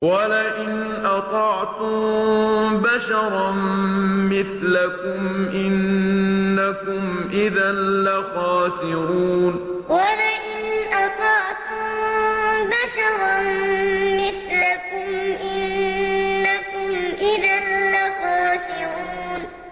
وَلَئِنْ أَطَعْتُم بَشَرًا مِّثْلَكُمْ إِنَّكُمْ إِذًا لَّخَاسِرُونَ وَلَئِنْ أَطَعْتُم بَشَرًا مِّثْلَكُمْ إِنَّكُمْ إِذًا لَّخَاسِرُونَ